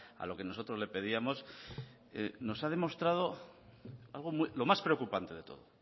a lo que nosotros le pedíamos nos ha demostrado lo más preocupante de todo